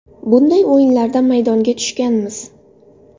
Bunday o‘yinlarda maydonga tushganmiz.